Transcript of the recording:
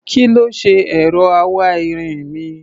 Kí ló ṣe ẹ̀rọ awáirin mi?